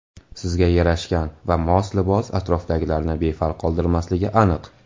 Sizga yarashgan va mos libos atrofdagilarni befarq qoldirmasligi aniq.